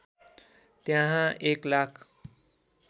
त्यहाँ १ लाख